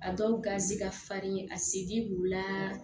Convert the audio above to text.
A dɔw garisigɛ ka farin a sedi b'u la